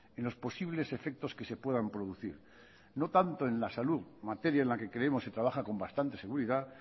en los posibles efectos que se puedan producir no tanto en la salud materia en la que creemos se trabaja con bastante seguridad